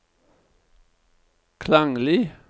klanglig